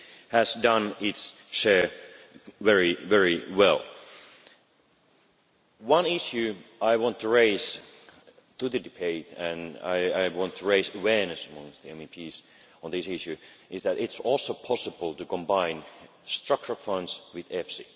EIB has done its share very, very well. One issue I want to raise in the debate and I want to raise awareness amongst MEPs on this issue is that it is also possible to combine structural funds with EFSI.